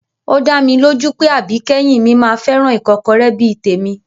Ó dá mi lójú pé àbíkẹ́yìn mi máa fẹ́ràn ìkọ́kọrẹ́ bí i tèmi